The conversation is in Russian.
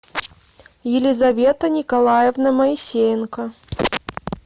елизавета николаевна моисеенко